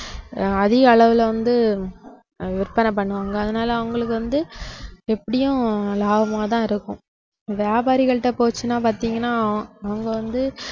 ஆஹ் அதிகளவுல வந்து அஹ் விற்பனை பண்ணுவாங்க அதனால அவங்களுக்கு வந்து எப்படியும் லாபமா தான் இருக்கும் வியாபாரிகள்ட்ட போச்சுன்னா பாத்தீங்கன்னா அவங்க வந்து